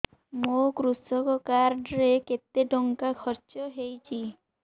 ମୋ କୃଷକ କାର୍ଡ ରେ କେତେ ଟଙ୍କା ଖର୍ଚ୍ଚ ହେଇଚି